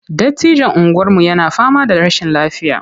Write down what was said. Dattijon unguwarmu yana fama da rashin lafiya.